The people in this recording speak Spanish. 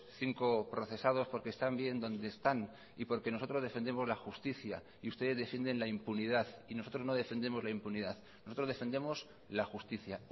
cinco procesados porque están bien donde están y porque nosotros defendemos la justicia y ustedes defienden la impunidad y nosotros no defendemos la impunidad nosotros defendemos la justicia